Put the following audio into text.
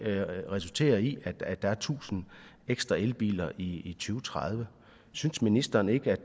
resulterer i at der er tusind ekstra elbiler i to tredive synes ministeren ikke at